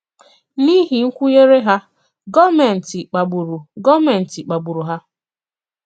N’ihi nkwùnyere hà, gọọ̀mèntì kpàgburu gọọ̀mèntì kpàgburu hà.